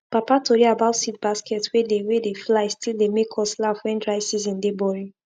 papa tori about seed basket wey dey wey dey fly still dey make us laugh when dry season dey boring